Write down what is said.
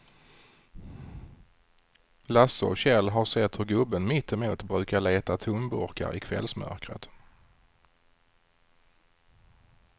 Lasse och Kjell har sett hur gubben mittemot brukar leta tomburkar i kvällsmörkret.